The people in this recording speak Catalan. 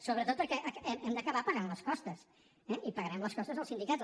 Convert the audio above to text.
sobretot perquè hem d’acabar pagant les costes eh i pagarem les costes dels sindicats